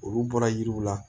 Olu bɔra yiriw la